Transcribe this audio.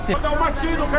Maşını qoy zalit.